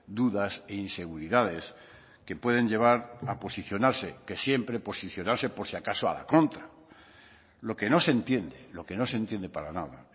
dudas e inseguridades que pueden llevar a posicionarse que siempre posicionarse por si acaso a la contra lo que no se entiende lo que no se entiende para nada